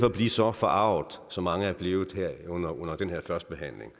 at blive så forarget som mange er blevet her under den her førstebehandling